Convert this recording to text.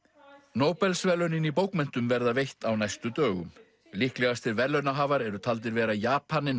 Nóbelsverðlaunin í bókmenntum verða veitt á næstu dögum líklegastir verðlaunahafar eru taldir vera Japaninn